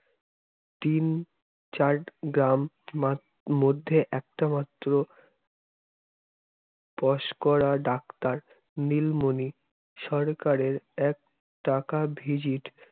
তিন চার গ্রাম মধ্যে একটা মাত্র পাশ করা doctor নীলমণি সরকারের এক টাকা visit